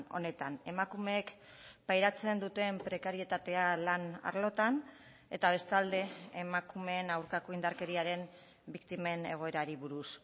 honetan emakumeek pairatzen duten prekarietatea lan arlotan eta bestalde emakumeen aurkako indarkeriaren biktimen egoerari buruz